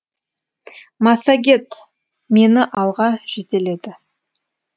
массагет мені алға жетеледі